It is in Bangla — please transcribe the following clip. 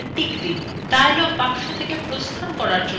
dialog box থেকে প্রস্থান করার জন্য ok click করুন